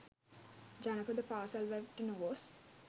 ජනපද පාසැල් වලට නොගොස්